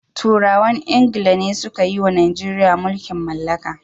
Turawan ingila ne suka yiwa Najeriya mulkin mallaka.